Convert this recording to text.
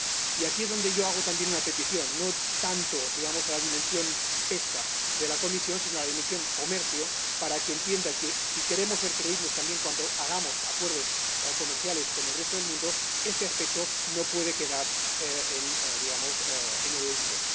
Y aquí es donde yo hago también una petición, no tanto a la dimensión pesca de la Comisión, como a la dimensión comercio, para que entienda que, si queremos ser creíbles también cuando celebremos acuerdos comerciales con el resto del mundo, este aspecto no puede quedar en el olvido.